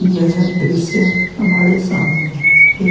यह दृश्य हमारे सामने एक --